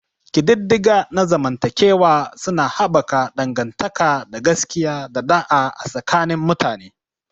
Ƙididdiga na zamantakewa suna haɓaka dangantaka ta gaskiya da ɗa'a a tsakanin mutane.